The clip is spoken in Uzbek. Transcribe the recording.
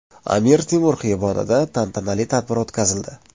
Amir Temur xiyobonida tantanali tadbir o‘tkazildi.